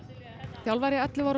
þjálfari ellefu ára